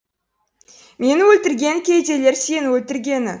мені өлтіргені кедейлер сені өлтіргені